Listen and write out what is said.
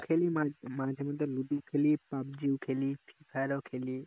মাঝে মধ্যে ludo ও খেলি pubg ও খেলি free fire ও খেলি